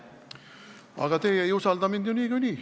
Aga teie ei usalda mind ju niikuinii.